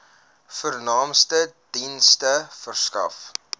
vernaamste dienste verskaf